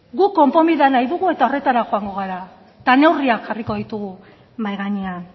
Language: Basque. guk konponbidea nahi dugu eta horretara joango gara eta neurriak jarriko ditugu mahai gainean